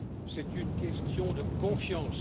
C'est une question de confiance.